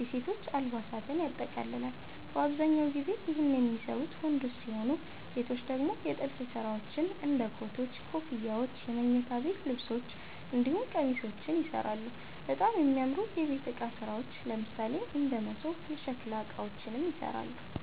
የሴቶች አልባሳትን ያጠቃልላል። በአብዛኛው ጊዜ ይህን የሚሰሩት ወንዶች ሲሆኑ ሴቶች ደግሞ የጥልፍ ስራዎች እንደ ኮቶች, ኮፍያዎች የመኝታ ቤት ልብሶች እንዲሁም ቄሚሶችንም ይሰራሉ፣ በጣም የሚያምሩ የቤት እቃ ስራዎች ለምሳሌ እንደ መሶብ፣ የሸከላ እቃዎችንም ይሰራሉ።